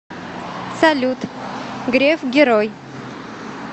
салют греф герой